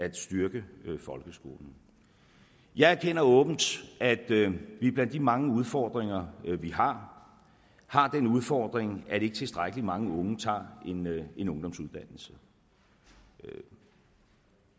at styrke folkeskolen jeg erkender åbent at vi blandt de mange udfordringer vi har har den udfordring at ikke tilstrækkelig mange unge tager en ungdomsuddannelse og